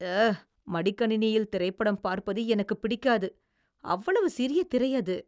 அ... மடிக்கணினியில் திரைப்படம் பார்ப்பது எனக்குப் பிடிக்காது. அவ்வளவு சிறிய திரை அது.